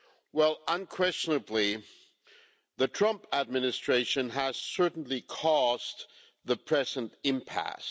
Well, unquestionably, the Trump administration has certainly caused the present impasse.